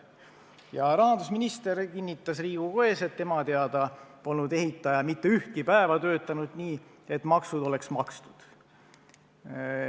Ja rahandusminister kinnitas Riigikogu ees, et tema teada polnud ehitaja mitte ühtki päeva töötanud nii, et maksud oleks makstud.